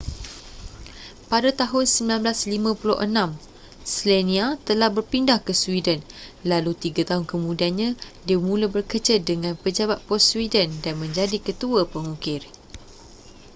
pada tahun 1956 słania telah berpindah ke sweden lalu tiga tahun kemudiannya dia mula bekerja dengan pejabat pos sweden dan menjadi ketua pengukir